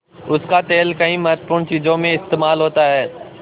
उसका तेल कई महत्वपूर्ण चीज़ों में इस्तेमाल होता है